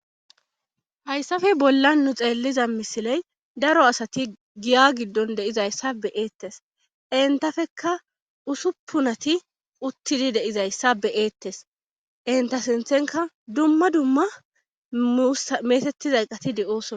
Hayssafe bolla nu xeelliza misiley daro asati giya giddon deizayssa be eettes entafekka usuppunati uttidi deizayssa be eettes enta sinthenka dumma dumma msameetettiza qati de'oosona.